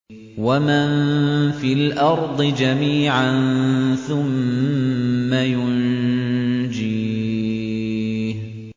وَمَن فِي الْأَرْضِ جَمِيعًا ثُمَّ يُنجِيهِ